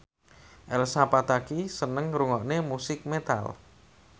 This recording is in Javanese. Elsa Pataky seneng ngrungokne musik metal